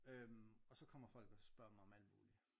Øhm og så kommer folk og spørger mig om alt muligt